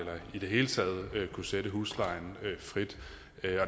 i det hele taget skal kunne sætte huslejen frit